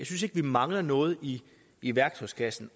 synes ikke vi mangler noget i i værktøjskassen